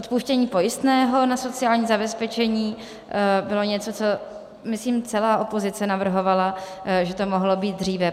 Odpuštění pojistného na sociální zabezpečení bylo něco, co myslím celá opozice navrhovala, že to mohlo být dříve.